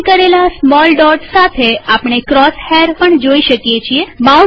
પસંદ કરેલા small dot સાથે આપણે ક્રોસ હૈર પણ જોઈ શકીએ છીએ